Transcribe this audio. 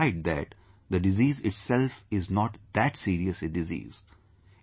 And despite that, the disease itself is not that serious a disease